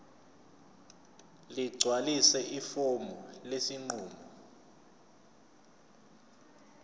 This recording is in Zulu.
ligcwalise ifomu lesinqumo